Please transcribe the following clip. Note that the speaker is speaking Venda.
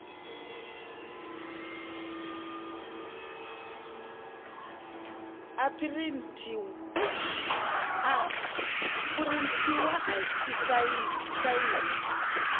a phurinthiwa i sainwe i